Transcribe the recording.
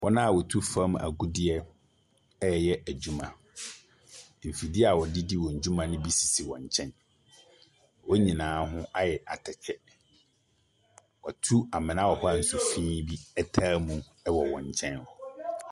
Wɔn a wɔtu fɔm agudeɛ ɛɛyɛ adwuma. Mfidie a wɔde di wɔn dwuma no bi sisi wɔn nkyɛn. Wɔn nyinaa ho ayɛ atɛkyɛ. Watu amena a nsufin bi taa mu ɛwɔ wɔn nkyɛn hɔ.